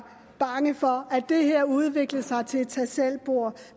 bange for at det her ville udvikle sig til et tagselvbord